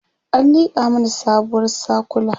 an liƙa mana sabuwar sakula